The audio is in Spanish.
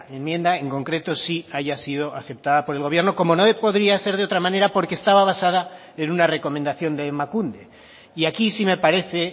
enmienda en concreto sí haya sido aceptada por el gobierno como no podría ser de otra manera porque estaba una recomendación de emakunde y aquí sí me parece